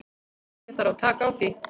Ég þarf að taka því.